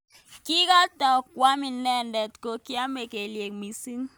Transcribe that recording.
Kingotoi kwam inendet kokiamei kelyek mising.